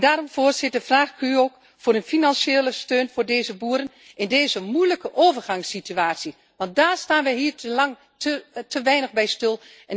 En daarom, voorzitter, vraag ik u ook om financiële steun voor deze boeren in deze moeilijke overgangssituatie want daar staan we hier te weinig bij stil.